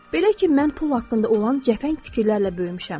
Belə ki, mən pul haqqında olan cəfəng fikirlərlə böyümüşəm.